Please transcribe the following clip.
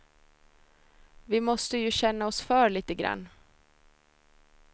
Vi måste ju känna oss för litegrann.